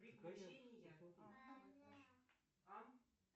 приключения